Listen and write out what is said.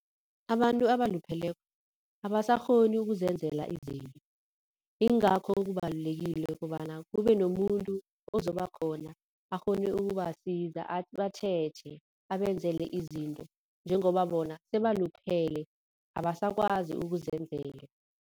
Abantu abalupheleko abasakghoni ukuzenzela izinto. Ingakho kubalulekile kobana kube nomuntu ozobakhona akghone ukubasiza, abatjheje, abenzele izinto njengoba bona sebaluphele abasakwazi ukuzenzela.